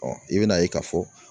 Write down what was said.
i bɛn'a ye k'a fɔ